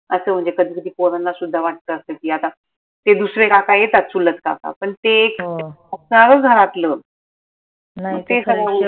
असं म्हनजे कधी कधी corona त सुद्धा वाटत असं की आता ते दुसरे काका येतात चुलत काका पन ते